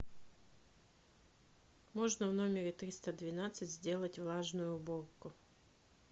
можно в номере триста двенадцать сделать влажную уборку